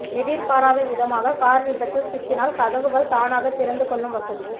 எதிர்பாராத விதமாக கார் விபத்தில் சிக்கினால் கதவுகள் தானாக திறந்துகொள்ளும் வசதி